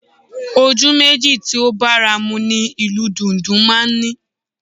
Ojú méjì tí ó bára mu ni ìlù dùndún máa ń ní